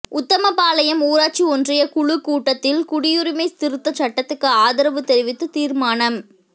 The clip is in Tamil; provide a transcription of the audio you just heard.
உத்தமபாளையம் ஊராட்சி ஒன்றியக் குழு கூட்டத்தில் குடியுரிமை திருத்தச் சட்டத்துக்கு ஆதரவு தெரிவித்து தீா்மானம்